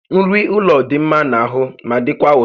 Nri ụlọ dị mma n'ahụ ma dịkwa ụtọ